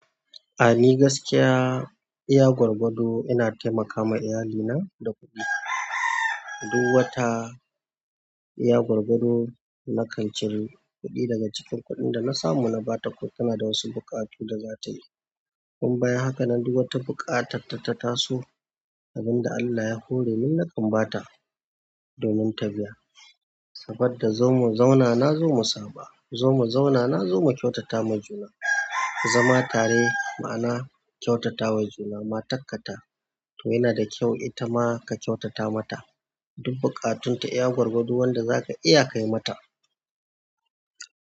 A dai gaskiya iya gwargwado ina taimaka ma iyali na da kuɗi duk wata, iya gwargwado na kan cire kuɗi daga cikin kuɗin da na samu na ba ta. Tana da wasu buƙatu da za ta yi. Tun baya haka, na duba ta buƙatarta ta taso abin da Allah ya hore min na kan ba ta domin ta biya, saboda zo mu zauna na zo mu saba. Zomu zauna nazo mu kyautata wa juna zama tare ma'ana kyautata wa juna. Ma takkata to yana da kyau ita ma ka kyautata mata duk bukatunta. Iya gwargwado wanda zaka iya kai mata.